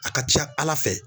A ka ca Ala fɛ